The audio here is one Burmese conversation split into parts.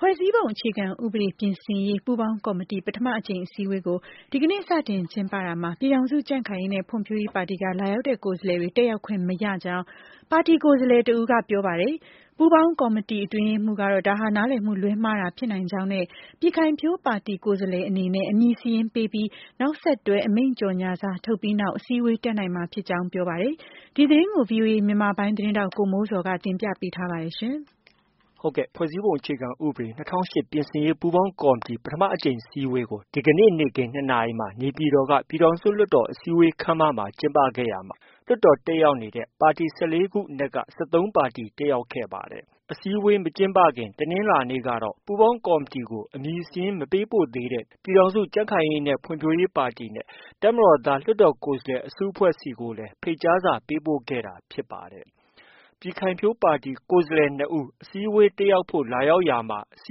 ဖွဲ့စည်းပုံအခြေခံဥပဒေ ပြင်ဆင်ရေး ပူးပေါင်းကော်မတီ ပထမ အကြိမ်အစည်း အဝေးကို ဒီကနေ့ စတင်ကျင်းပရာမှာ ပြည်ထောင်စု ကြံ့ခိုင်ရေးနဲ့ ဖွံ့ဖြိုးရေးပါတီက လာရောက်တဲ့ကိုယ်စားလှယ်တွေ တက်ရောက်ခွင့် မရကြောင်း ပါတီကိုယ်စားလှယ်တစ်ဦးက ပြောပါတယ်။ ပူးပေါင်းကော်မတီရဲ့ အတွင်းရေးမှူး ကတော့ ဒါဟာ နားလည်မှုလွဲမှားတာဖြစ်နိုင်ကြောင်းနဲ့ ပြည်ခိုင်ဖြိုး ပါတီကိုယ်စားလှယ် အနေနဲ့ အမည်စာရင်းပေးပြီး နောက်ဆက်တွဲအမိန့်ကြေညာစာ ထုတ်ပြီးနောက်မှာ အစည်းအဝေးတက်ရောက်နိုင်မှာ ဖြစ်ကြောင်း ပြောပါတယ်။ ဒီသတင်းကို ဗွီအိုအေမြန်မာပိုင်းရဲ့ သတင်းထောက် ကိုမိုးဇော်က တင်ပြထားပါတယ်။ ဖွဲ့စည်းပုံအခြေခံဥပဒေ ပြင်ဆင်ရေး ပူးပေါင်းကော်မတီ ပထမအကြိမ် အစည်းအဝေးကို ဒီကနေ့ နေ့ခင်း ၂နာရီမှာ နေပြည်တော်က ပြည်ထောင်စု လွှတ်တော်အစည်းအဝေး ခန်းမမှာ ကျင်းပခဲ့ရာမှာ လွှတ်တော်တက်ရောက်နေတဲ့ ပါတီ ၁၄ ပါတီ အနက်က ၁၃ ပါတီ တက်ရောက်ခဲ့ပါတယ်။ ဒီအစည်းအဝေးမကျင်းပခင် တနင်္လာနေ့ကတော့ ပူးပေါင်းကော်မတီကို အမည်စာရင်း မပေးပို့သေးတဲ့ ပြည်ထောင်စု ကြံ့ခိုင်ရေးနဲ့ ဖွံ့ဖြိုးရေးပါတီနဲ့ တပ်မတော်သား လွှတ်တော် ကိုယ်စားလှယ် အစုအဖွဲ့ ဆီကို လည်း ဖိတ်ကြားစာပေးပို့ခဲ့တာဖြစ်ပါတယ်။ ပြည်ခိုင်ဖြိုး ပါတီကိုယ်စားလှယ် ၂ဦး အစည်းအဝေး တက်ရောက်ဖို့ လာရောက် လာရာမှာ အစ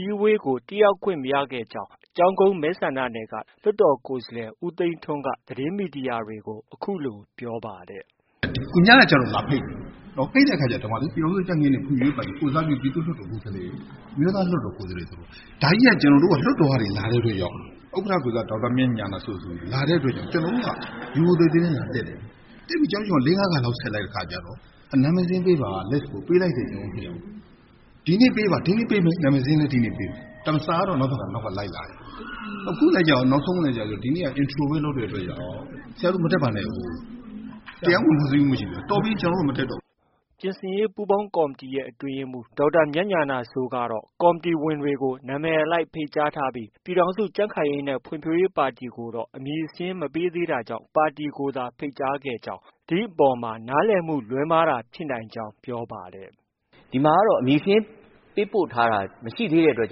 ည်းအဝေးကို တက်ရောက်ခွင့် မရခဲ့ကြောင်း ကျောင်းကုန်းမဲဆန္ဒနယ်က လွှတ်တော်ကိုယ်စားလှယ် ဦးသိန်းထွန်းက သတင်းမီဒီယာတွေကို အခုလို ပြောပါတယ်။ “ ညကကျတော့ လာဖိတ်တယ်။ ဖိတ်တဲ့အခါက ပြည်ထောင်စုကြံ့ခိုင်ရေးနဲ့ ဖွံ့ဖြိုးရေးပါတီ ကိုယ်စားပြု ပြည်သူ့လွှတ်တော်ကိုယ်စားလှယ်၊ အမျိုးသားလွှတ်တော် ကိုယ်စားလှယ် ဆိုတော့ ဒါကြီးက ကျနော်တို့ လွှတ်တေ်ာကနေ လာတဲ့အတွက်ကြောင့် ဥက္ကဌ ကိုယ်စား ဒေါက်တာမြတ်ဉာဏစိုး ဆိုလာတဲ့အတွက်ကြောင့် ကျနော်တို့က ရိုရိုသေသေနဲ့ လာတက် တယ်။ တက်တဲ့အခါက ကျနော်တို့က ၄- ၅ ခါလောက် ဆက်လိုက်တဲ့ အခါကျတော့ နာမည်စာရင်းပေးပါ။ ပေးလိုက်တယ် ကျနော်တို့ ၂ယောက်။ ဒီနေ့ပေးပါ၊ ဒီနေ့ ပေးတယ်။ နာမည်စာရင်းလည်း ဒီနေ့ ပေးတယ်။ ဒါပေမဲ့ စာကတော့ နောက်က လိုက်လာတယ်။ နောက်ဆုံးလည်းကျရော ဒီနေ့က Intro ပဲ လုပ်တဲ့အတွက်ကြောင့် ဆရာတို့ မတက်ပါနဲ့အုံး။ တရားဝင်ဖွဲ့စည်းမှု မရှိဘူးတဲ့။ တော်ပြီ ကျနော်တို့ မတက်တော့ဘူး။” ပြင်ဆင်ရေးပူးပေါင်းကော်မတီရဲ့ အတွင်းရေးမှူး ဒေါက်တာမြတ်ဉာဏစိုးကတော့ ကော်မတီဝင်တွေကို နာမည်အလိုက်ဖိတ်ကြားပြီး ပြည်ထောင်စု ကြံ့ခိုင်ရေး နဲ့ ဖွံ့ဖြိုးရေး ပါတီကိုတော့ အမည်စာရင်း မပေးသေးတာကြောင့် ပါတီကိုသာ ဖိတ်ကြားခဲ့ကြောင်း၊ ဒီအပေါ်မှာ နားလည်မှု လွဲမှားတာဖြစ်နိုင်ကြောင်း ပြောပါတယ်။ “ ဒီမှာကတော့ အမည်စာရင်းပေးပို့ထားတာ မရှိတဲ့အတွက်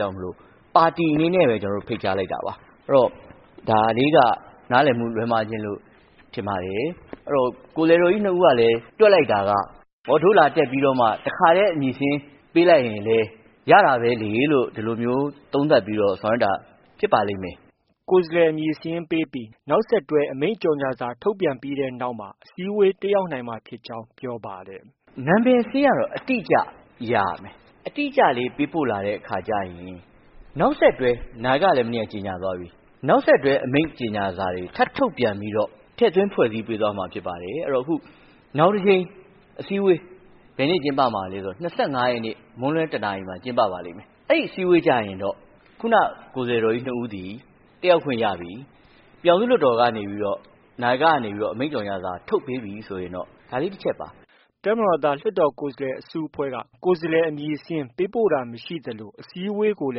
ကြောင့် ပါတီအနေနဲ့ပဲ ကျနော်တို့ ဖိတ်ကြားလိုက်တာပါ။ အဲတော့ ဒါလေးက နားလည်မှုလွဲမှားခြင်းလို့ ထင်ပါတယ်။ အဲတော့ ကိုယ်စားလှယ်တော်ကြီး ၂ဦးကလည်း တွက်လိုက်တာက အော် တို့လာတက်ပြီးတော့မှ တစ်ခါတည်း အမည်စာရင်း ပေးလိုက်ရင် လည်း ရတာပဲလေလို့ ဒီလိုမျိုး သုံးသပ်ပြီးတော့ ဆောင်ရွက်တာဖြစ်ပါလိမ့်မယ်။” ကိုယ်စားလှယ် အမည်စာရင်းပေးပြီး နောက်ဆက်တွဲအမိန့်ကြေညာစာ ထုတ်ပြီးနောက်မှာ အစည်းအဝေး တက်ရောက်နိုင်မှာ ဖြစ်ကြောင်း ပြောပါတယ်။ “ နာမည်စာရင်းကတော့ အတိအကျ ရရမယ်။ အတိအကျလေး ပေးပို့လာတဲ့ အခါကျရင် နောက်ဆက်တွဲ - နာယကကလည်း မနေ့က ကြေညာသွားပြီ၊ နောက်ဆက်တွဲ အမိန့်ကြေညာစာတွေ ထပ်ထွက်ပြီးတော့ ထည့်သွင်း ဖွဲ့စည်းပေးသွားမှာဖြစ်ပါတယ်။ အဲတော့ အခုနောက် တစ်ကြိမ်အစည်းအဝေး ဘယ်နေ့ကျင်းပမှာလည်း ဆိုတော့ ၂၅ရက်နေ့ မွန်းလွဲ ၁နာရီမှာ ကျင်းပပါလိမ့်မယ်။ အဲဒီအစည်းအဝေးကျရင်တော့ ခုနက ကိုယ်စားလှယ်တော်ကြီး ၂ဦးသည် တက်ရောက်ခွင့်ရပြီ။ ပြည်ထောင်စု လွှတ်တော် ကနေပြီးတော့ နာယကကနေပြီးတော့ အမိန့်ကြေညာစာထုတ်ပေးပြီဆိုရင်တော့ ဒါလေး တစ်ချက်ပါ။” တပ်မတော်သား လွှတ်တော်ကိုယ်စားလှယ်အစုအဖွဲ့က ကိုယ်စားလှယ်စာရင်း ပေးပို့ တာ မရှိသလို အစည်းအဝေးကိုလ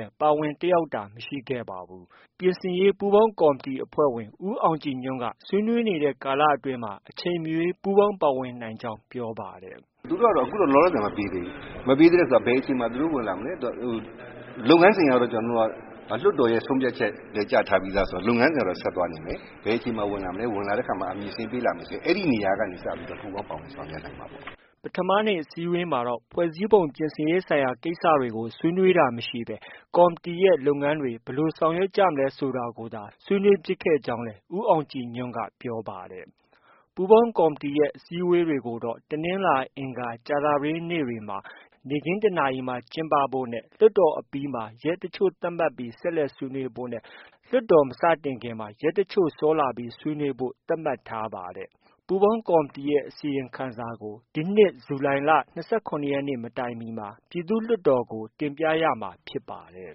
ည်း ပါဝင်အတက်ရောက်တာမရှိခဲ့ပါဘူး။ ပြင်ဆင်ရေး ပူးပေါင်းကော်မတီ အဖွဲ့ဝင် ဦးအောင်ကြည်ညွှန်က ဆွေးနွေးနေတဲ့ ကာလအတွင်းမှာ အချိန်အရွေး ပူးပေါင်းပါဝင်နိုင်ကြောင်း ပြောပါတယ်။ “သူတို့ကတော့ အခုလောလောဆည် မပေးသေးဘူး။ မပေးသေးဘူးဆို ဘယ်အချိန်မှာ သူတို့ ဝင်လာမလဲ။ လုပ်ငန်းစဉ်အရတော့ လွှတ်တော်ရဲ့ ဆုံးဖြတ်ချက်လည်း ကျထားပြီးသား ဆိုတော့ လုပ်ငန်းစဉ်ကတော့ ဆက်သွားနေမယ်။ ဘယ်အချိန်မှာ ဝင်လာ မလဲ ဝင်လာတဲ့အခါမှာ အမည်စာရင်း ပေးလာရင် အဲဒီနေရာကနေ စပြီး ပူးပေါင်း ဆောင်ရွက် နိုင်မှာပေါ့။ ” ပထမနေ့ အစည်းအဝေးမှာတော့ ဖွဲ့စည်းပုံပြင်ဆင်ရေး ဆိုင်ရာ ကိစ္စတွေ ဆွေးနွေးတာ မရှိသေးဘဲ ကော်မတီရဲ့ လုပ်ငန်းတွေ ဘယ်လို ဆောင်ရွက်ကြမလဲဆိုတာကိုသာ ဆွေးနွေးဖြစ်ခဲ့ကြောင်းလည်း ဦးအောင်ကြည်ညွှန့်က ပြောပါတယ်။ ပူးပေါင်းကော်မတီရဲ့ အစည်းအဝေးတွေကိုတော့ တနင်္လာ၊ အင်္ဂါ၊ ကြာသပတေးနေ့ နေ့ခင်း ၁နာရီမှာ ကျင်းပဖို့နဲ့ လွှတ်တော်အပြီးမှာ ရက်တစ်ချို့ သတ်မှတ်ပြီး ဆက်လက်ဆွေးနွေး ဖို့နဲ့ လွှတ်တော်မစတင်မီမှာ ရက်တချို့စောလာပြီးဆွေးနွေးဖို့ သတ်မှတ်ထားပါတယ်။ ပူးပေါင်းကော်မတီရဲ့ အစီရင်ခံစာကို ဒီနှစ် ဇူလိုင်လ ၂၇ရက်နေ့ မတိုင်မီ ပြည်ထောင်စု လွှတ်တော်ကို တင်ပြရမှာဖြစ်ပါတယ်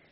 ။